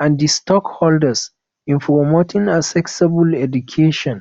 and di stakeholders in promoting accessible education